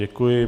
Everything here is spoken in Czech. Děkuji.